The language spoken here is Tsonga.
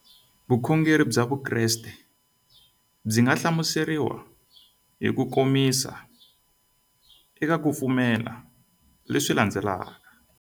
Vukhongeri bya Vukreste byi nga hlamuseriwa hi kukomisa eka ku pfumela leswi landzelaka.